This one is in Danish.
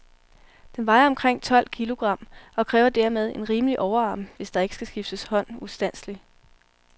Den vejer omkring tolv kilogram, og kræver dermed en rimelig overarm, hvis der ikke skal skifte hånd ustandseligt.